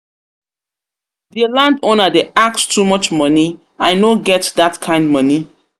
Di landowner dey ask too much monie, I no get dat kind monie.